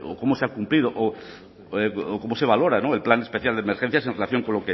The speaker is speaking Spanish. cómo se ha cumplido o cómo se valora el plan especial de emergencias en relación